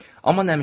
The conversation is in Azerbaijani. Amma nəmişlik idi.